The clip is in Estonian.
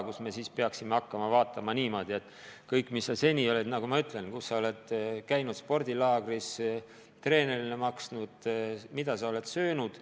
Kas me siis peaksime hakkama üle vaatama kõike, mis inimene seni on teinud: kus ta on käinud spordilaagris, mida treenerile maksnud, mida söönud.